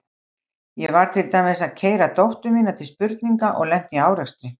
Ég var til dæmis að keyra dóttur mína til spurninga og lenti í árekstri.